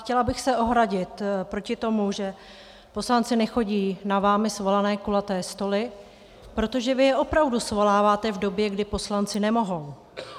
Chtěla bych se ohradit proti tomu, že poslanci nechodí na vámi svolané kulaté stoly, protože vy je opravdu svoláváte v době, kdy poslanci nemohou.